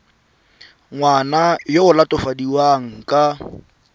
ngwana yo o latofadiwang ka